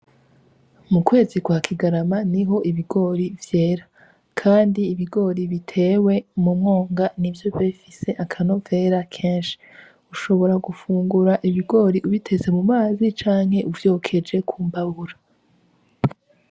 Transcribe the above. Mu kwezi kwa kigarama niho ibigori vyera kandi ibigori bitewe mu mwoga nivyo biba bifise akanovera kenshi ushobora gufungura ibigori ubitetse mumazi canke uvyokeje kumbabura.